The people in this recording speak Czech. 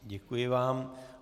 Děkuji vám.